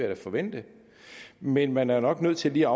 da forvente men man er nok nødt til lige